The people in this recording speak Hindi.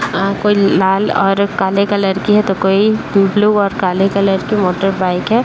आ कोई लाल और काले कलर की है तो कोई ब्लू और काले कलर की मोटरबाइक है।